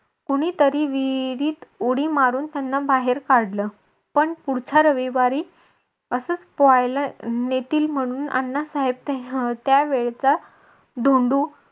कोणीतरी विहिरीत उडी मारून त्यांना बाहेर काढलं पण पुढच्या रविवारी असच पोहायला नेतील म्हणून अण्णासाहेब त्यावेळेचा धोंडू